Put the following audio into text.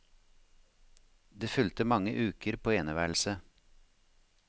Det fulgte mange uker på eneværelse.